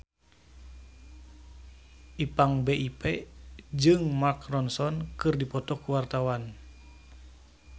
Ipank BIP jeung Mark Ronson keur dipoto ku wartawan